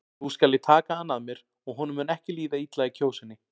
Nú skal ég taka hann að mér og honum mun ekki líða illa í Kjósinni.